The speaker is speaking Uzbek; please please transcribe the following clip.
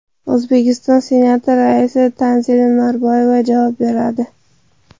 O‘zbekiston Senati raisi Tanzila Norboyeva javob beradi .